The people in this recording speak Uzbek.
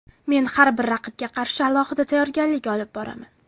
Men har bir raqibga qarshi alohida tayyorgarlik olib boraman.